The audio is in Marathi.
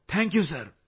thank you sir